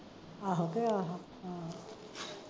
ਆਹੋ ਕਿ ਆਹੋ ਆਹ ਅਮ